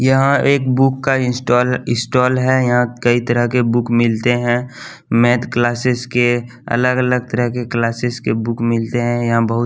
यहाँ एक बुक का इंस्टॉल इस्टॉल है यहाँ कई तरह के बुक मिलते हैं मैथ क्लासेस के अलग अलग तरह के क्लासेस के बुक मिलते हैं यहाँ बहुत --